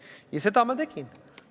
Ja seda ma tegin.